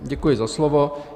Děkuji za slovo.